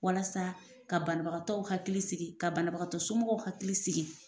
Walasa ka banabagatɔw hakili sigi ka banabagatɔ somɔgɔw hakili sigi.